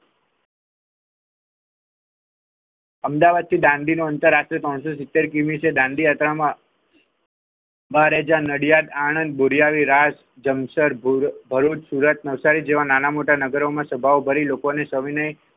અમદાવાદ થી દાંડીનો આંતર પાંચસો સિત્તેર કિમી છે દાંડી યાત્રામાં બારેજા નડિયાદ આણંદ બોરીયાવી રાતે ભરૂચ સુરત નવસારી જેવા નાના મોટા નગરોમાં સ્વભાવ બરી લોકોને સવિનય.